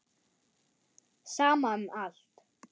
Sama um allt.